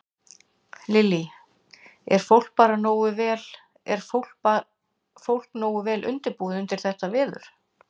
Lillý: Er fólk bara nógu vel, er fólk nógu vel undirbúið undir þetta veður?